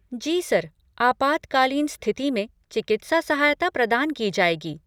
जी सर, आपातकालीन स्थिति में चिकित्सा सहायता प्रदान की जाएगी।